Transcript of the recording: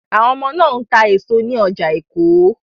Àwọn ọmọ náà ń ta èso ní ọjà Èkó